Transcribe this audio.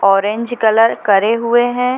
Orange colour करे हुए हैं ।